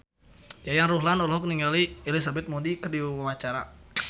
Yayan Ruhlan olohok ningali Elizabeth Moody keur diwawancara